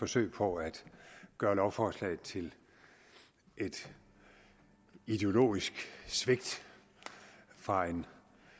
forsøg på at gøre lovforslaget til et ideologisk svigt fra en